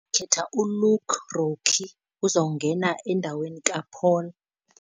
Ndikhetha uLuke Ronchi. Uzongena endaweni kaPaul.